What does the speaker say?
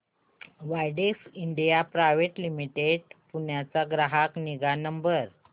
Widex India private limited Pune चा ग्राहक निगा नंबर